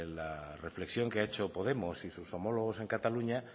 la reflexión que ha hecho podemos y sus homólogos en cataluña